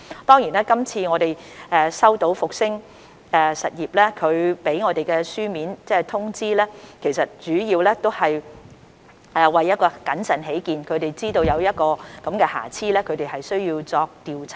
當然，據我們收到復星實業的書面通知，其實主要是為了謹慎起見，他們得知疫苗包裝出現瑕疵，因此須進行調查。